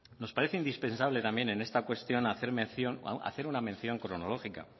nos parece indispensable también en esta cuestión hacer una mención cronológica